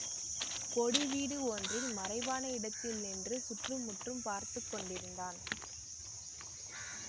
கொடி வீடு ஒன்றில் மறைவான இடத்தில் நின்று சுற்றுமுற்றும் பார்த்து கொண்டிருந்தான்